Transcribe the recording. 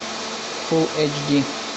фул эйч ди